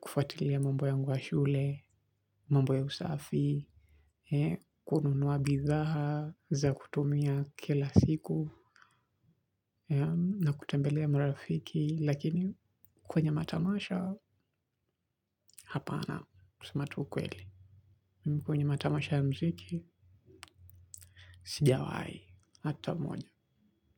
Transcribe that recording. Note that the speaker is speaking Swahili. kufuatilia mambo yangu ya shule. Mambo ya usafi. Kununua bizaha za kutumia kila siku na kutembelea marafiki lakini kwenye matamasha hapana kusema tu ukweli mimi kwenye matamasha ya muziki sijawai hata moja.